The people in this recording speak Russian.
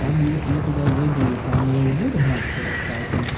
там есть я туда зайду там меня не буду гнать палками